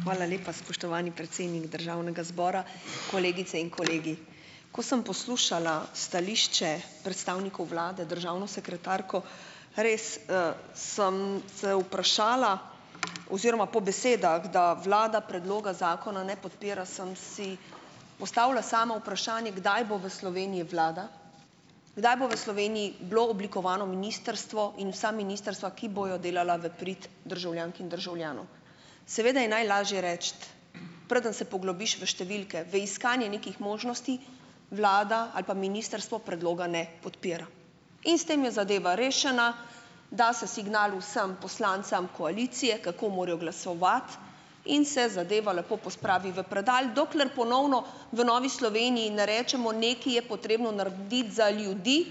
Hvala lepa, spoštovani predsednik državnega zbora. Kolegice in kolegi! Ko sem poslušala stališče predstavnikov vlade, državno sekretarko, res, sem se vprašala oziroma po besedah, da vlada predloga zakona ne podpira, sem si postavila sama vprašanje, kdaj bo v Sloveniji vlada, kdaj bo v Sloveniji bilo oblikovano ministrstvo in vsa ministrstva, ki bojo delala v prid državljank in državljanov. Seveda je najlažje reči, preden se poglobiš v številke, v iskanje nekih možnosti, "vlada ali pa ministrstvo predloga ne podpira". In s tem je zadeva rešena, da se signal vsem poslancem koalicije, kako morajo glasovati in se zadeva lepo pospravi v predal, dokler ponovno v Novi Sloveniji ne rečemo, nekaj je potrebno narediti za ljudi,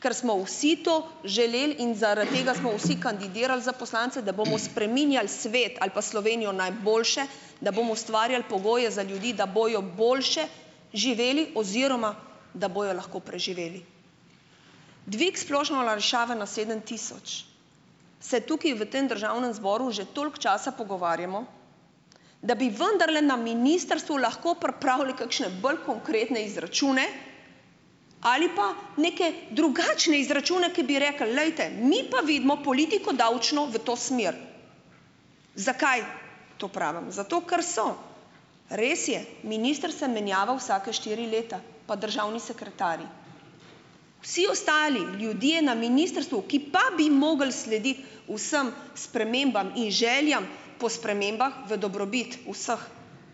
ker smo vsi to želeli in zaradi tega smo vsi kandidirali za poslance, da bomo spreminjali svet ali pa Slovenijo na boljše, da bomo ustvarjali pogoje za ljudi, da bojo boljše živeli oziroma da bojo lahko preživeli. Dvig splošne olajšave na sedem tisoč, se tukaj v tem državnem zboru že toliko časa pogovarjamo, da bi vendarle na ministrstvu lahko pripravili kakšne bolj konkretne izračune ali pa neke drugačne izračune, ki bi rekli: "Glejte, mi pa vidimo politiko davčno v to smer." Zakaj to pravim? Zato, ker so. Res je, minister se menjava vsake štiri leta, pa državni sekretarji, vsi ostali, ljudje na ministrstvu, ki pa bi mogli slediti vsem spremembam in željam po spremembah v dobrobit vseh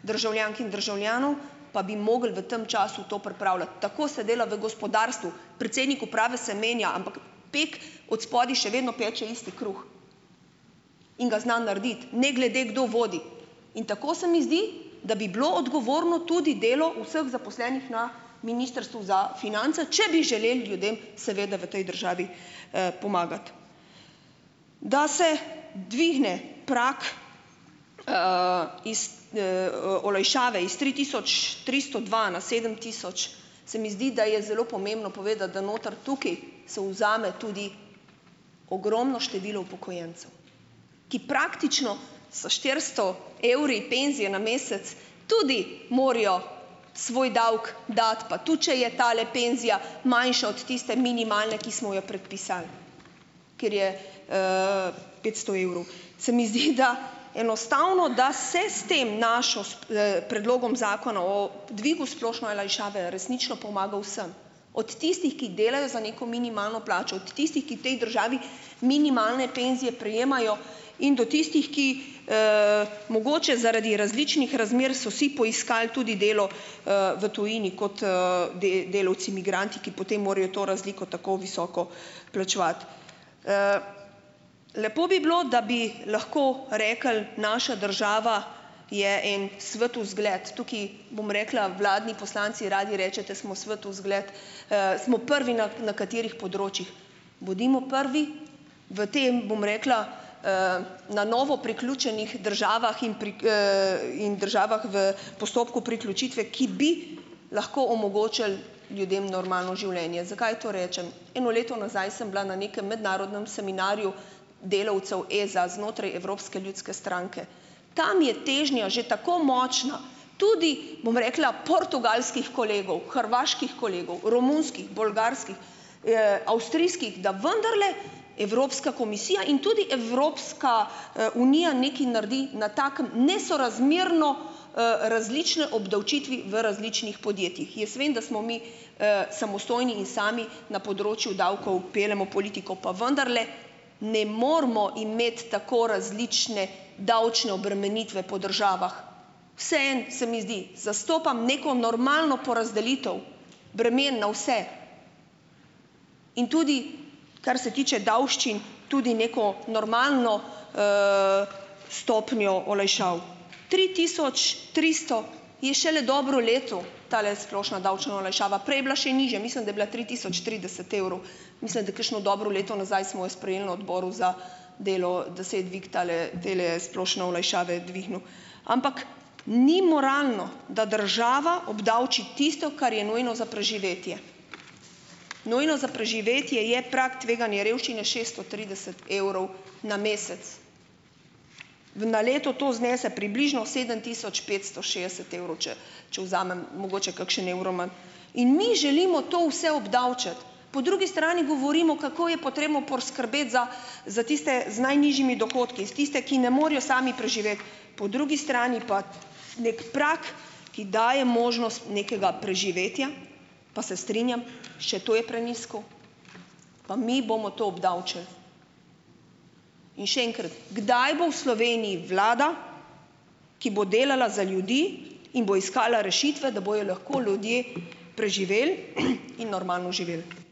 državljank in državljanov, pa bi mogli v tem času to pripravljati. Tako se dela v gospodarstvu. Predsednik uprave se menja, ampak pek odspodaj še vedno peče isti kruh in ga zna narediti, ne glede kdo vodi. In tako se mi zdi, da bi bilo odgovorno tudi delo vseh zaposlenih na Ministrstvu za finance, če bi želeli ljudem seveda v tej državi, pomagati. Da se dvigne prag, iz, olajšave iz tri tisoč tristo dva na sedem tisoč, se mi zdi, da je zelo pomembno povedati, da noter, tukaj, se vzame tudi ogromno število upokojencev, ki praktično s štiristo evri penzije na mesec tudi morajo svoj davek dati, pa tudi če je tale penzija manjša od tiste minimalne, ki smo jo predpisali, ker je, petsto evrov. Se mi zdi, da enostavno, da se s tem našo, s predlogom zakona o dvigu splošno olajšave resnično pomaga vsem, od tistih, ki delajo za neko minimalno plačo, od tistih, ki v tej državi minimalne penzije prejemajo in do tistih, ki, mogoče zaradi različnih razmer, so si poiskali tudi delo, v tujini, kot, delavci migranti, ki potem morajo to razliko tako visoko plačevati. Lepo bi bilo, da bi lahko rekli, naša država je en svetu zgled. Tukaj, bom rekla, vladni poslanci radi rečete: "Smo svetu zgled." smo prvi na na katerih področjih? Bodimo prvi v tem, bom rekla, na novo priključenih državah in in državah v postopku priključitve, ki bi lahko omogočili ljudem normalno življenje. Zakaj to rečem? Eno leto nazaj sem bila na nekem mednarodnem seminarju delavcev, za znotraj Evropske ljudske stranke. Tam je težnja že tako močna, tudi, bom rekla, portugalskih kolegov, hrvaških kolegov, romunskih, bolgarskih, avstrijskih, da vendarle Evropska komisija in tudi Evropska, unija nekaj naredi na takem, nesorazmerno, različne obdavčitve v različnih podjetjih. Jaz vem, da smo mi, samostojni in sami, na področju davkov peljemo politiko, pa vendarle, ne moramo imeti tako različne davčne obremenitve po državah. Vseeno se mi zdi. Zastopam neko normalno porazdelitev bremen na vse in tudi, kar se tiče davščin, tudi neko normalno, stopnjo olajšav. Tri tisoč tristo, je šele dobro leto, tale splošna davčna olajšava. Prej je bila še nižja, mislim, da je bila tri tisoč trideset evrov. Mislim, da kakšno dobro leto nazaj smo jo sprejeli na odboru za delo, da se je dvig tale, tele splošne olajšave dvignil. Ampak, ni moralno, da država obdavči tisto, kar je nujno za preživetje. Nujno za preživetje je prag tveganje revščine šesto trideset evrov na mesec. V na leto to znese približno sedem tisoč petsto šestdeset evrov, če če vzamem mogoče kakšen evro manj, in mi želimo to vse obdavčiti. Po drugi strani govorimo, kako je potrebno poskrbeti za za tiste z najnižjimi dohodki, za tiste, ki ne morejo sami preživeti, po drugi strani pa neki prag, ki daje možnost nekega preživetja, pa se strinjam, še to je prenizko, pa mi bomo to obdavčili. In še enkrat, kdaj bo v Sloveniji vlada, ki bo delala za ljudi in bo iskala rešitve, da bojo lahko ljudje preživeli in normalno živeli?